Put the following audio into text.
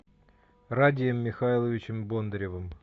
радием михайловичем бондаревым